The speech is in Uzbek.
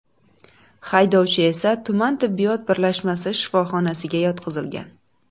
Haydovchi esa tuman tibbiyot birlashmasi shifoxonasiga yotqizilgan.